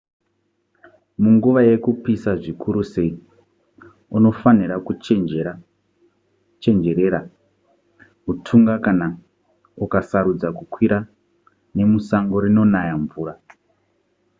munguva yekupisa zvikuru sei unofanira kuchenjerera hutunga kana ukasarudza kukwira nemusango rinonaya mvura